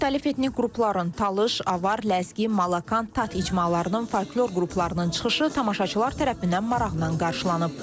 Müxtəlif etnik qrupların, Talış, Avar, Ləzgi, Malakan, Tat icmalarının folklor qruplarının çıxışı tamaşaçılar tərəfindən maraqla qarşılanıb.